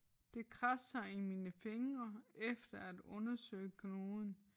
Det kradser i mine fingre efter at undersøge knuden